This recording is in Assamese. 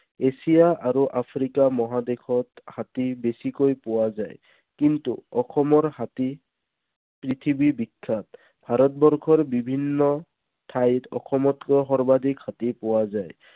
এছিয়া আৰু আফ্ৰিকা মহাদেশত হাতী বেছিকৈ পোৱা যায়। কিন্তু অসমৰ হাতী পৃথিৱী বিখ্যাত। ভাৰতবৰ্ষৰ বিভিন্ন ঠাইত অসমতকৈ সৰ্বাধিক হাতী পোৱা যায়।